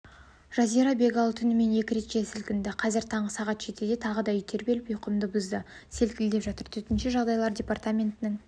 жазира бегалы түнімен екі рет жер сілкінді қазір таңғы сағат де тағы үй тербеліп ұйқымды бұзды селкілдетіп жатыр төтенше жағдайлар департаментінің